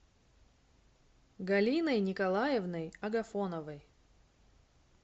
галиной николаевной агафоновой